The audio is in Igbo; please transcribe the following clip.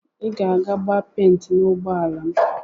Iga ege gba penti na ụgbọala m.